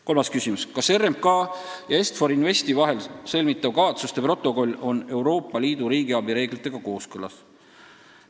Kolmas küsimus: "Kas RMK ja Est-For Investi vahel sõlmitav kavatsuste protokoll on Euroopa Liidu riigiabi reeglitega kooskõlas?